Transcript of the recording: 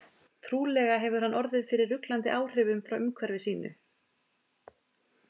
Trúlega hefur hann orðið fyrir ruglandi áhrifum frá umhverfi sínu.